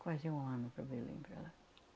Quase um ano para Belém, para lá.